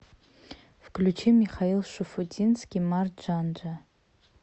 включи михаил шуфутинский марджанджа